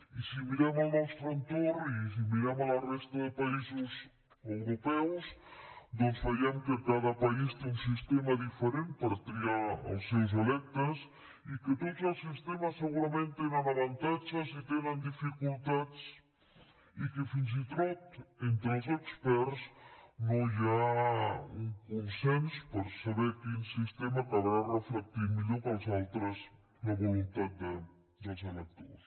i si mirem el nostre entorn i si mirem la resta de països europeus doncs veiem que cada país té un sistema diferent per triar els seus electes i que tots els sistemes segurament tenen avantatges i tenen dificultats i que fins i tot entre els experts no hi ha un consens per saber quin sistema acabarà reflectint millor que els altres la voluntat dels electors